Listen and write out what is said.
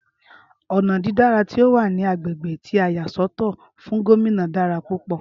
Ọnà dídára tí ọ wà ní agbègbè tí a yà sọ́tọ̀ fún Gómìnà dára púpọ̀